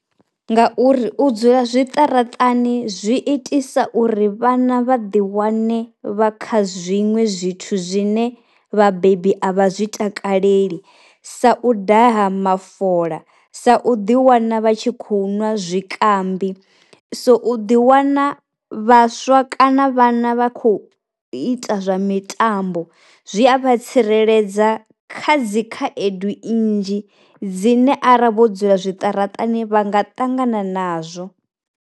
Ngauri u dzula zwiṱaraṱani zwi itisa uri vhana vha ḓi wane vha kha zwiṅwe zwithu zwine vhabebi a vha zwi takaleli sa u daha mafola, sa u ḓi wana vha tshi khou nwa zwikambi, so u ḓi wana vhaswa kana vhana vha kho ita zwa mitambo zwi a vha tsireledza kha dzi khaedu nnzhi dzine ara vho dzula zwiṱaraṱani vha nga ṱangana nazwo.